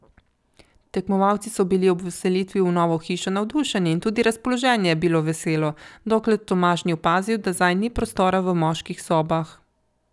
Tekmovalci so bili ob vselitvi v novo hišo navdušeni in tudi razpoloženje je bilo veselo, dokler Tomaž ni opazil, da zanj ni prostora v moških sobah.